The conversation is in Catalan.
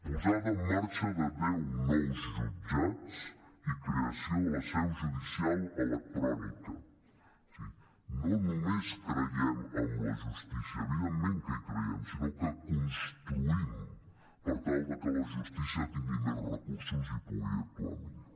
posada en marxa de deu nous jutjats i creació de la seu judicial electrònica o sigui no només creiem en la justícia evidentment que hi creiem sinó que construïm per tal de que la justícia tingui més recursos i pugui actuar millor